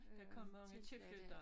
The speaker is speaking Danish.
Der kom mange tilflyttere